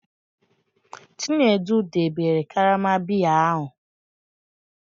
Chinedu, debe karama biya ahu!